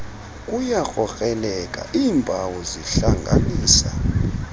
kuyakrokreleka iimpawu zihlanganisa